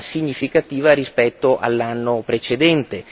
significativa rispetto all'anno precedente.